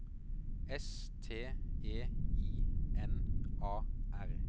S T E I N A R